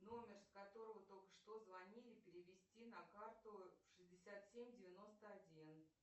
номер с которого только что звонили перевести на карту шестьдесят семь девяносто один